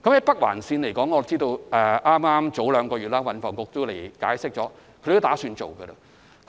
北環綫方面，我知道運房局官員兩個月前已向議員解釋當局準備興建。